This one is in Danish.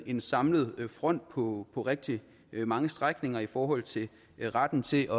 en samlet front på rigtig mange strækninger i forhold til retten til